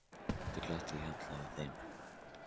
Oft er glatt á hjalla hjá þeim.